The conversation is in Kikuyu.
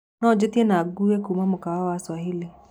no njĩĩtĩe na ngũũwe kũma mũkawaĩnĩ wa swahili